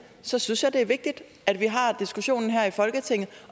så synes jeg det er vigtigt at vi har diskussionen her i folketinget